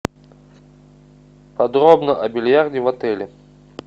подробно о бильярде в отеле